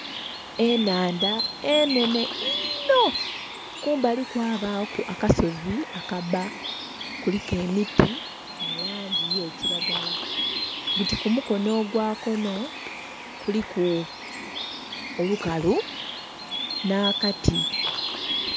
Enhandha enhenhe inho kumbali kwabaku akasozi akabba kuliku emiti mu langi ye kilagala buti ku mukonho ogwo konho kuliku olukalu nha kati.